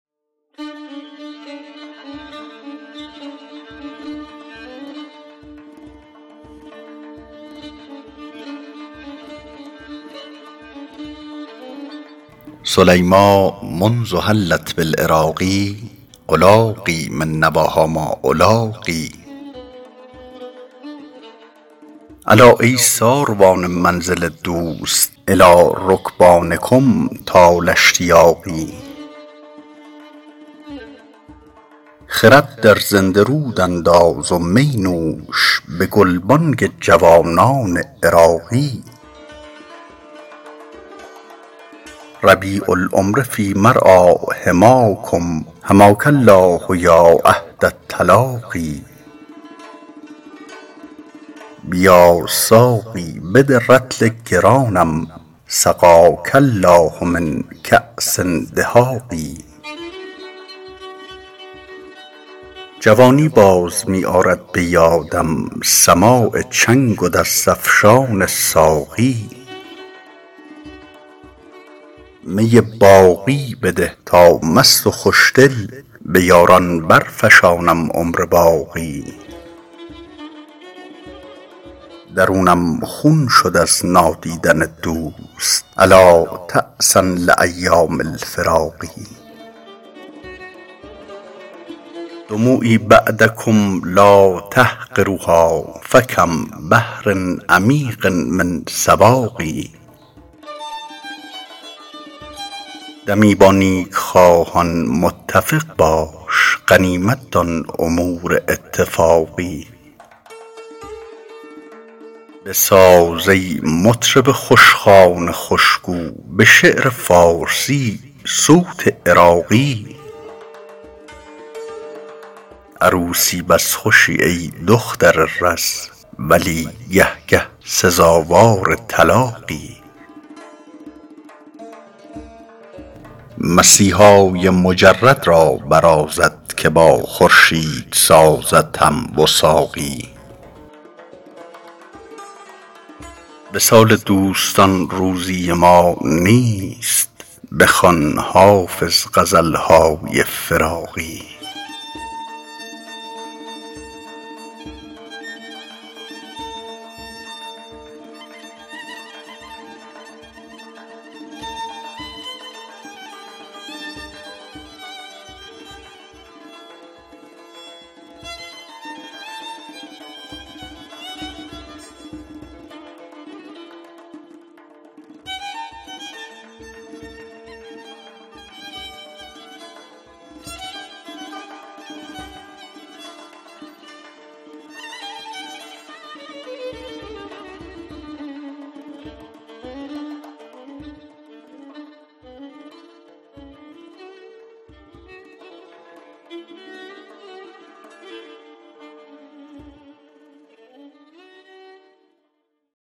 سلیمیٰ منذ حلت بالعراق ألاقی من نواها ما ألاقی الا ای ساروان منزل دوست إلی رکبانکم طال اشتیاقی خرد در زنده رود انداز و می نوش به گلبانگ جوانان عراقی ربیع العمر فی مرعیٰ حماکم حماک الله یا عهد التلاقی بیا ساقی بده رطل گرانم سقاک الله من کأس دهاق جوانی باز می آرد به یادم سماع چنگ و دست افشان ساقی می باقی بده تا مست و خوشدل به یاران برفشانم عمر باقی درونم خون شد از نادیدن دوست ألا تعسا لأیام الفراق دموعی بعدکم لا تحقروها فکم بحر عمیق من سواق دمی با نیکخواهان متفق باش غنیمت دان امور اتفاقی بساز ای مطرب خوشخوان خوشگو به شعر فارسی صوت عراقی عروسی بس خوشی ای دختر رز ولی گه گه سزاوار طلاقی مسیحای مجرد را برازد که با خورشید سازد هم وثاقی وصال دوستان روزی ما نیست بخوان حافظ غزل های فراقی